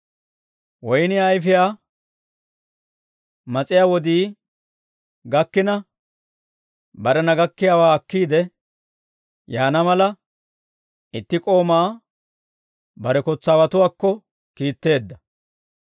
Woynniyaa ayfiyaa mas'iyaa wodii gakkina, barena gakkiyaawaa akkiide yaana mala, itti k'oomaa bare kotsaawatuwaakko kiitteedda.